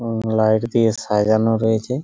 উম light দিয়ে সাজানো রয়েছে।